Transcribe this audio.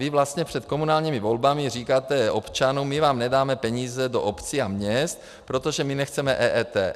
Vy vlastně před komunálními volbami říkáte občanům: my vám nedáme peníze do obcí a měst, protože my nechceme EET.